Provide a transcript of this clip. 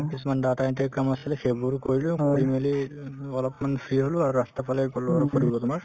মানে কিছুমান data entry ৰ কাম আছিলে সেইবোৰ কৰিলো কৰি মেলি ও অলপমান free হলো আৰু ৰাস্তাৰফালে গলো অলপ ফুৰিব তোমাৰ